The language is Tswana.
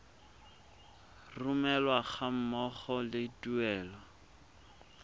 romelwa ga mmogo le tuelo